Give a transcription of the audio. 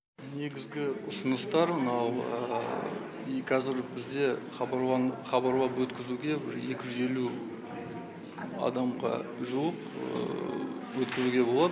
негізгі ұсыныстар мынау кәзір бізде хабарлап өткізуге бір екі жүз елу адамға жуық өткізуге болады